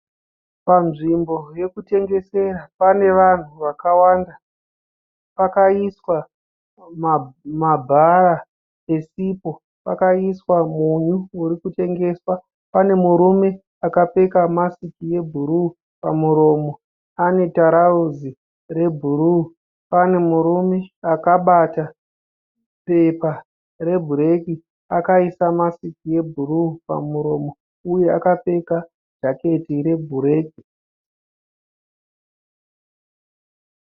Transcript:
Panzvimbo yekutengesera pane vanhu vakawanda. Pakaiswa mabhaa esipo. Pakaiswa munyu uri kutengeswa .Pane murume akapfeka masiki yebhuruu pamuromo ane tarauzi rebhuruu. Pane murume akabata pepa rebhureki akaisa masiki yebhuruu pamuromo uye akapfeka jaketi rwebhureki.